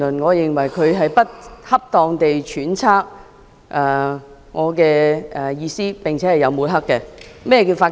我認為他不恰當地揣測我的意圖，並有抹黑之嫌。